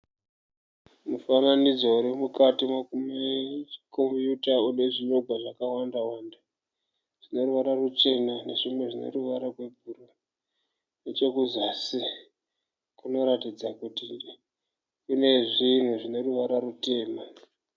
Mufananidzo urimukati mekombuyuta unezvinyogwa zvakawanda wanda. Zvine ruvara ruchena nezvimwe zvineruvara rwebhuruu. Nechekuzasi kunoratidza kuti kune zvinhu zvine ruvara rutema.